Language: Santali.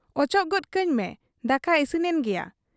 ᱚᱪᱚᱜ ᱜᱚᱫ ᱠᱟᱹᱧ ᱢᱮ ᱫᱟᱠᱟ ᱤᱥᱤᱱᱮᱱ ᱜᱮᱭᱟ ᱾'